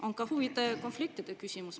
On ka huvide konflikti küsimus.